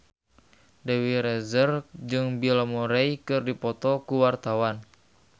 Dewi Rezer jeung Bill Murray keur dipoto ku wartawan